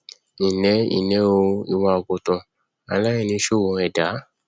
nlẹ nlẹ o ìwọ àgùntàn aláìníṣòro ẹdá